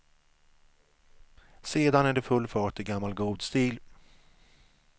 Sedan är det full fart i gammal god stil.